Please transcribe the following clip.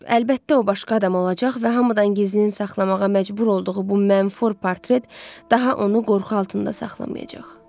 Əlbəttə o başqa adam olacaq və hamıdan gizlin saxlamağa məcbur olduğu bu mənfur portret daha onu qorxu altında saxlamayacaq.